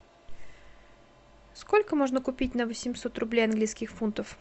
сколько можно купить на восемьсот рублей английских фунтов